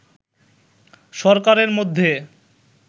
সরকারের মধ্যে